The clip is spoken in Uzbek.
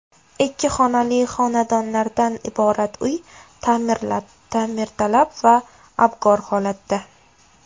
Ikki xonali xonadonlardan iborat uy ta’mirtalab va abgor holatda.